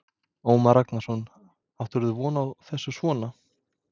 Ómar Ragnarsson: Áttirðu von á þessu svona?